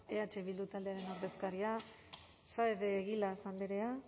eh bildu taldearen ordezkaria saez de egilaz andrea